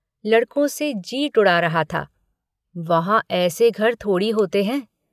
लड़कों से जीट उड़ा रहा था वहाँ ऐसे घर थोड़े ही होते हैं।